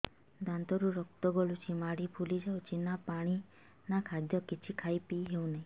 ଦାନ୍ତ ରୁ ରକ୍ତ ଗଳୁଛି ମାଢି ଫୁଲି ଯାଉଛି ନା ପାଣି ନା ଖାଦ୍ୟ କିଛି ଖାଇ ପିଇ ହେଉନି